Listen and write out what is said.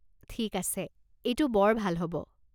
ঠিক আছে, এইটো বৰ ভাল হ'ব।